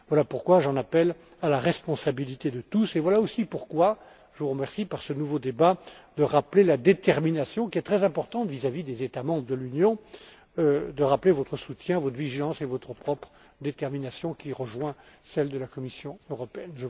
Voilà pourquoi j'en appelle à la responsabilité de tous et voilà, aussi, pourquoi je vous remercie, par ce nouveau débat, de rappeler la détermination, qui est très importante vis à vis des États membres de l'Union, ainsi que votre soutien, votre vigilance et votre propre détermination, qui rejoint celle de la Commission européenne.